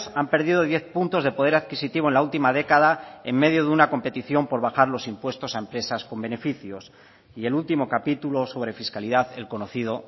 han perdido diez puntos de poder adquisitivo en la última década en medio de una competición por bajar los impuestos a empresas con beneficios y el último capítulo sobre fiscalidad el conocido